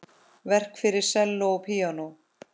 Verk fyrir selló og píanó.